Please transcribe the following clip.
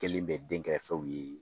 Kelen bɛ denkɛrɛfɛw ye.